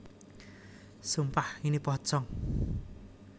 Sumpah Ini Pocong